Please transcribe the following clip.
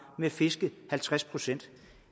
med at fiske halvtreds procent